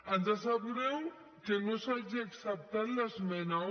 ens sap greu que no s’hagi acceptat l’esmena un